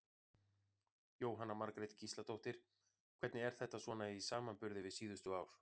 Jóhanna Margrét Gísladóttir: Hvernig er þetta svona í samanburði við síðustu ár?